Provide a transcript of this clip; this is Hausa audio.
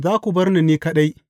Za ku bar ni ni kaɗai.